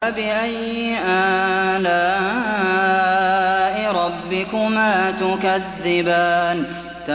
فَبِأَيِّ آلَاءِ رَبِّكُمَا تُكَذِّبَانِ